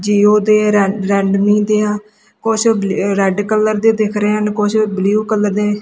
ਜਿਉ ਤੇ ਇਹ ਰੈ ਰੇਡਮੀ ਦੇ ਆ ਕੁਛ ਰੈੱਡ ਕਲਰ ਦੇ ਦਿਖ ਰਹੇ ਹਨ ਕੁਛ ਬਲੂ ਕਲਰ ਦੇ।